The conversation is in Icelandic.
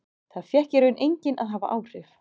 Það fékk í raun enginn að hafa áhrif.